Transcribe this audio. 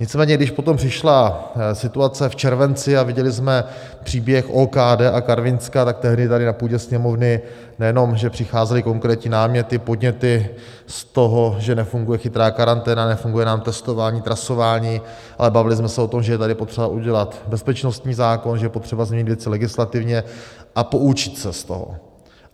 Nicméně když potom přišla situace v červenci a viděli jsme příběh OKD a Karvinska, tak tehdy tady na půdě Sněmovny nejenom že přicházely konkrétní náměty, podněty z toho, že nefunguje chytrá karanténa, nefunguje nám testování, trasování, ale bavili jsme se o tom, že je tady potřeba udělat bezpečnostní zákon, že je potřeba změnit věci legislativně a poučit se z toho.